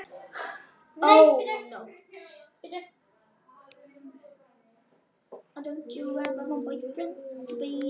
Ó nótt!